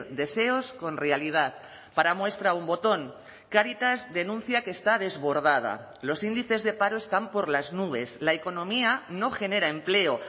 deseos con realidad para muestra un botón cáritas denuncia que está desbordada los índices de paro están por las nubes la economía no genera empleo